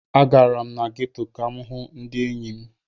Agara m na geto ka m hụ ndị enyi m.